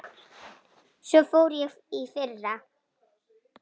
Svo fór ég í fyrra.